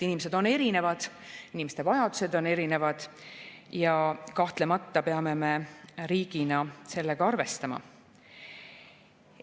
Inimesed on erinevad, inimeste vajadused on erinevad ja kahtlemata peame me riigina sellega arvestama.